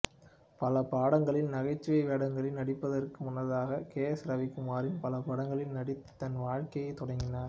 பல படங்களில் நகைச்சுவை வேடங்களில் நடிப்பதற்கு முன்னதாக கே எஸ் ரவிக்குமாரின் பல படங்களில் நடித்து தனது வாழ்க்கையைத் தொடங்கினார்